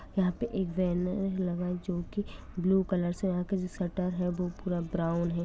यहाँ पर एक बैनर लगा है जो की ब्लू कलर से है और शटर है वो पूरा ब्राउन है।